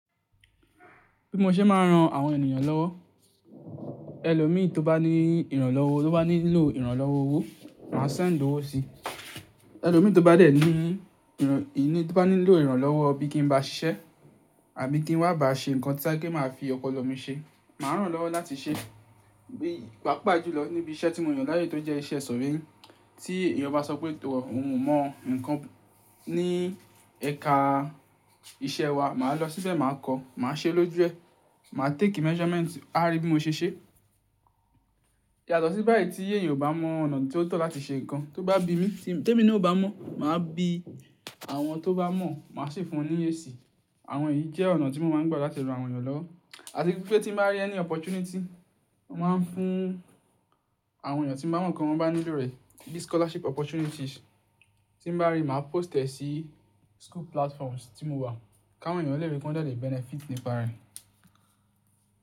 Bí mo ṣe máa ń ran àwọn ènìyàn lọ́wọ́, ẹlòmíì tó bá ní ìrànlọ́wọ́, tó bá nílò ìrànlọ́wọ́ owó, màá send dòwó si. Ẹlòmíì tó bá dẹ̀ ní ìrọ̀, ìní tó bá nílò ìrànlọ́wọ́ bí kín bá ṣiṣẹ́ àbí kí wọ́n bá ṣe ǹkan tí ẹ pé kí máa fi ọpọ̀lọ mi ṣe, màá ràn lọ́wọ́ láti ṣe. Bí, pàápàá jùlọ níbi iṣẹ́ tí mo yàn láàyò tó jẹ́ iṣẹ́ surveying. Tí èèyàn bá sọ pé tọ́, òun mọ nǹkan ní ẹ̀ka iṣẹ́ wa, màá lọ síbẹ̀, màá kọ́, màá ṣe lójú ẹ, màá take measurement, a rí bí mo ṣe ṣe. Yaàtọ̀ sí báyìí tí èèyàn ò bá mọ ọ̀nà tí ó tọ́ láti ṣe nǹkan, tó bá bi mí, tí èmi ní ò bá mọ̀, màá bi àwọn tó bá mọ̀, màá sì fún un ní esi. Àwọn yìí jẹ́ ọ̀nà tí mo máa ń gbà láti ran àwọn èèyàn lọ́wọ́. Àti pé tí mo bá rí ẹni opportunity, mo màá ń fún àwọn èèyàn tí mo mọ̀ pé wọn bá nílò rẹ̀. Bí scholarship opportunities tí mo bá rí, màá post ẹ̀ sí school platforms tí mo wà, káwọn èèyàn lè ríi pé wọ́n lè benefit nípa rẹ̀.